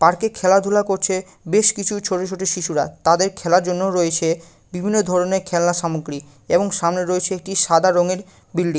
পার্কে খেলাধুলা করছে বেশ কিছু ছোট ছোট শিশুরা তাদের খেলার জন্য রয়েছে বিভিন্ন ধরণের খেলনা সামগ্রী এবং সামনে রয়েছে একটি সাদা রঙের বিল্ডিং ।